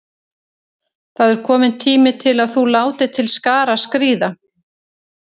Það er kominn tími til að þú látir til skarar skríða.